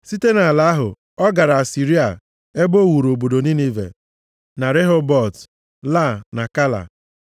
Site nʼala ahụ ọ gara Asịrịa, ebe o wuru obodo Ninive na Rehobọt Ia, na Kala,